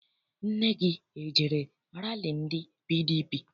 Nne gị ejere rali ndị PDP?